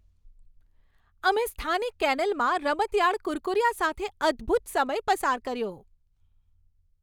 અમે સ્થાનિક કેનેલમાં રમતિયાળ કુરકુરિયા સાથે અદ્ભુત સમય પસાર કર્યો.